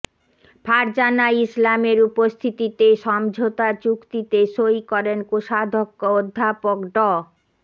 ফারজানা ইসলামের উপস্থিতিতে সমঝোতা চুক্তিতে সই করেন কোষাধ্যক্ষ অধ্যাপক ড